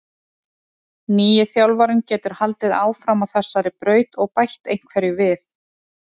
Nýi þjálfarinn getur haldið áfram á þessari braut og bætt einhverju við.